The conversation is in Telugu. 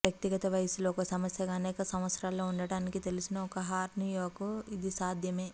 వ్యక్తిగత వయస్సులో ఒక సమస్యగా అనేక సంవత్సరాల్లో ఉండటానికి తెలిసిన ఒక హెర్నియాకు ఇది సాధ్యమే